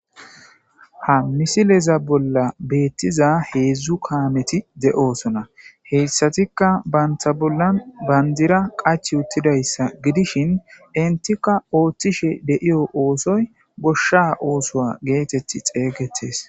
Ha misileza bolla beettiza heedzdzu kaameti de'osona heyssatikka banta bollan bandira qach uttidayssa gidishin intikka ooththishe deiyo oosoy goshsha oosoa geetetti xeeygetes.